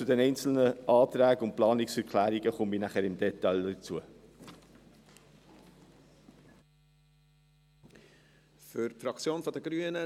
Auf die einzelnen Anträge und Planungserklärungen komme ich später im Detail zu sprechen.